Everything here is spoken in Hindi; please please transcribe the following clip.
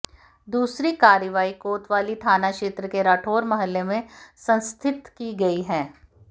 दूसरी कार्रवाई कोतवाली थाना क्षेत्र के राठौर मोहल्ले में संस्थित की गई है